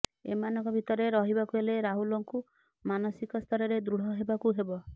ଏମାନଙ୍କ ଭିତରେ ରହିବାକୁ ହେଲେ ରାହୁଲଙ୍କୁ ମାନସିକ ସ୍ତରରେ ଦୃଢ଼ ହେବାକୁ ହେବ